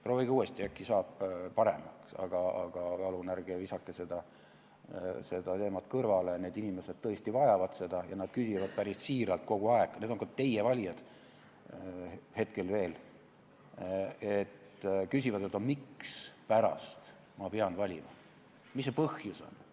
Proovige uuesti, äkki saab paremaks, aga palun ärge visake seda teemat kõrvale, need inimesed tõesti vajavad seda ja nad küsivad päris siiralt kogu aeg – need on ka teie valijad hetkel veel –, mispärast nad peavad valima, mis see põhjus on?